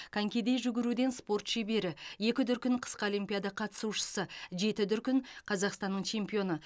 конькиде жүгіруден спорт шебері екі дүркін қысқы олимпиада қатысушысы жеті дүркін қазақстанның чемпионы